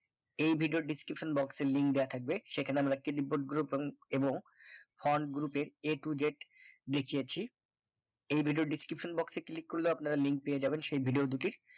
এই video র description box এ link দেওয়া থাকবে সেখানে click board group বং এবং front group এর a to z লিখেয়েছি এই video র description box এ click করলে আপনারা link পেয়ে যাবেন সেই video দুটির